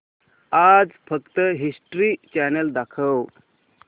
आज फक्त history channel दाखव